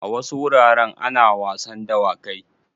A wasu wuraren ana wasan dawakai.